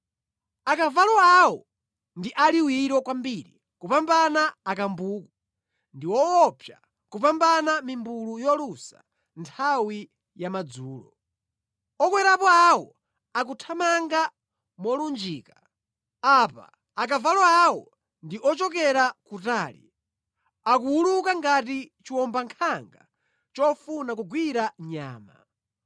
Akavalo awo ndi aliwiro kwambiri kupambana akambuku ndi owopsa kupambana mimbulu yolusa nthawi ya madzulo. Okwerapo awo akuthamanga molunjika; a pa akavalo awo ndi ochokera kutali, akuwuluka ngati chiwombankhanga chofuna kugwira nyama;